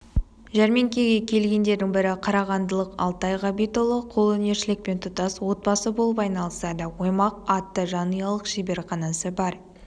жәрмеңкеге келгендердің бірі қарағандылық алтай ғабитұлы қолөнершілікпен тұтас отбасы болып айналысады оймақ атты жанұялық шеберханасы бар